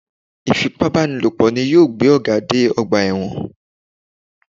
Ìfipábánilòpọ̀ ni yóò gbé Ọ̀gá dé ọgbà ẹ̀wọ̀n